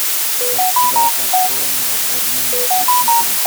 когда построены разводные мосты в питере